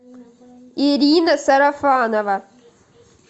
ирина сарафанова